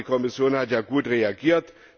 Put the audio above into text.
Aber die Kommission hat ja gut reagiert.